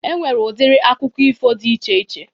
E nwere udiri akụkọ ifo dị iche iche.